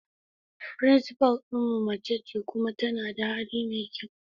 Principal din mu mace ce kuma tana da hali mai kyau.